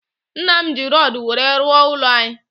Nnam ji rodu nwere rụọ ụlọ anyi